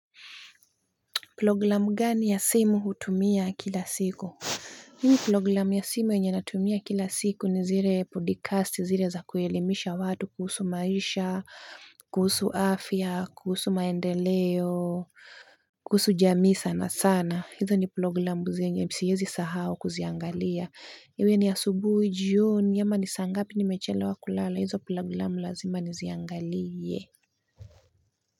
Programu gani ya simu hutumia kila siku? Mimi programu ya simu yenye natumia kila siku ni zile podikasti zile za kuelimisha watu kuhusu maisha, kuhusu afya, kuhusu maendeleo, kuhusu jamii sanasana hizo ni programu zenye siezi sahau kuziangalia iwe ni asubuhi, jioni ama ni saa ngapi nimechelewa kulala. Hizo programu lazima niziangalie.